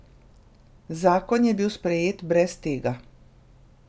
Zakon je bil sprejet brez tega.